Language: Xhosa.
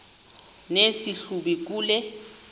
nesi hlubi kule